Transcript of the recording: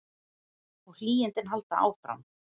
Og hlýindin halda áfram.